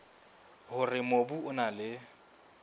hore mobu o na le